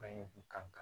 Fɛn kun kan